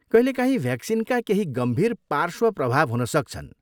कहिलेकाहीँ भ्याक्सिनका केही गम्भीर पार्श्व प्रभाव हुन सक्छन्।